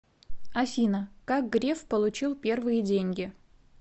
афина как греф получил первые деньги